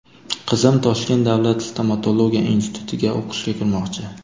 Qizim Toshkent davlat stomatologiya institutiga o‘qishga kirmoqchi.